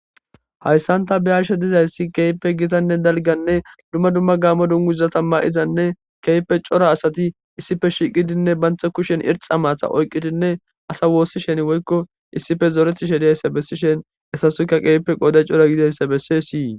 Hayssanta bayarshe dizayssi keepe gitanne dalganne dumma dumma gaamo dunguzata ma'izanne keype cora asati issife shiqidinne bantha kushen irxa maatha oyqqitinne asa woossishen woykko issife zooreti shediayssa bessishen essasukka qeepe qoode cora gidayssa bessesii.